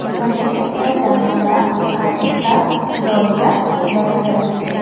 এখানে একটা জানালা আর একটা দরজা দেখা যাচ্ছে।